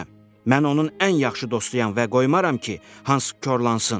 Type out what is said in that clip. Mən onun ən yaxşı dostuyam və qoymaram ki, Hans korlansın.